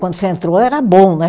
Quando você entrou era bom, né?